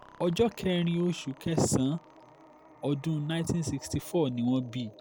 ọjọ́ kẹrin oṣù kẹsàn-án ọdún nineteen sixty four ni wọ́n bí